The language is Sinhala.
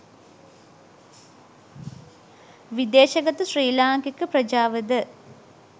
විදේශගත ශ්‍රී ලාංකික ප්‍රජාවද